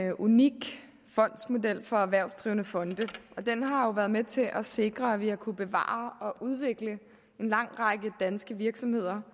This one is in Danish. en unik fondsmodel for erhvervsdrivende fonde og den har jo været med til at sikre at vi har kunnet bevare og udvikle en lang række danske virksomheder